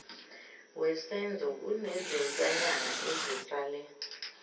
wesenzo kunezintwanyana ezisale